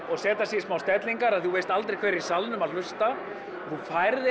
og setja sig í smá stellingar því þú veist aldrei hver er í salnum að hlusta þú færð